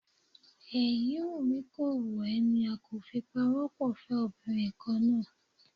Èyí wù mí kò wù ẹ́ ni a kò fi pawọ́ pọ̀ fẹ́ obìnrin kan náà